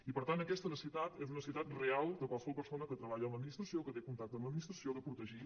i per tant aquesta necessitat és una necessitat real de qualsevol persona que treballa a l’administració que té contacte amb l’administració de protegir